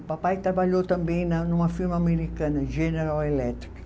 O papai trabalhou também na, numa firma americana, General Eletric.